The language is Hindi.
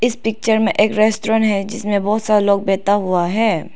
पिक्चर में एक रेस्टोरेंट है जिसमें बहुत सारे लोग बैठा हुआ है।